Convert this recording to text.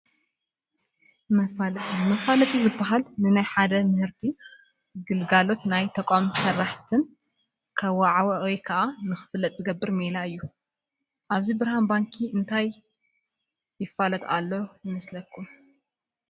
መፋለጢ፡- መፋለጢ ዝባሃል ንናይ ሓደ ምህርቲ ፣ ግልጋሎትን ናይ ተቋም ስራሕትን ከዋዓውዕ ወይ ንኽፍለጥ ዝገብር ሜላ እዩ፡፡ ኣብዚ ብርሃን ባንኪ እንታይ እንተፋልጥ ከሎ ይመስል?